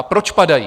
A proč padají?